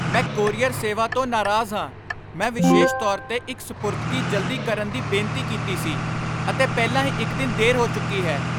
ਮੈਂ ਕੋਰੀਅਰ ਸੇਵਾ ਤੋਂ ਨਾਰਾਜ਼ ਹਾਂ। ਮੈਂ ਵਿਸ਼ੇਸ਼ ਤੌਰ 'ਤੇ ਇੱਕ ਸਪੁਰਦਗੀ ਜਲਦੀ ਕਰਨ ਦੀ ਬੇਨਤੀ ਕੀਤੀ ਸੀ, ਅਤੇ ਪਹਿਲਾਂ ਹੀ ਇੱਕ ਦਿਨ ਦੇਰ ਹੋ ਚੁੱਕੀ ਹੈ!